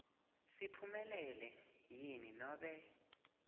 siphumelele yini nobe